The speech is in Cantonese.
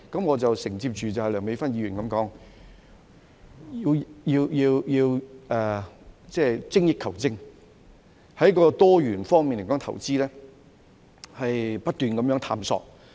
我承接梁美芬議員所說，要精益求精，在多元方面來說投資，不斷探索。